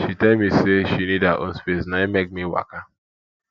she tell me me sey she need her own space na im make me waka